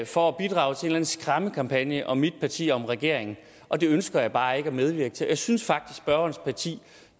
for at bidrage til en skræmmekampagne om mit parti og om regeringen og det ønsker jeg bare ikke at medvirke til jeg synes faktisk spørgerens parti